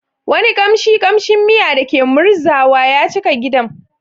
Wani kamshin kamshin miya da ke murzawa ya cika gidan.